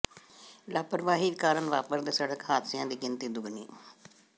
ਲਾਪ੍ਰਵਾਹੀ ਕਾਰਨ ਵਾਪਰ ਦੇ ਸੜਕ ਹਾਦਸਿਆਂ ਦੀ ਗਿਣਤੀ ਦੁੱਗਣੀ